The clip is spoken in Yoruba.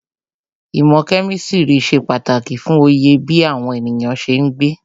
Īmò kemistri ṣe pàtàkì fún Oyè bí àwọn ènìyàn ṣe ń gbé.